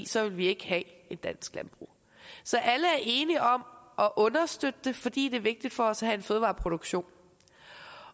så ville vi ikke have et dansk landbrug så alle er enige om at understøtte det fordi det er vigtigt for os at have en fødevareproduktion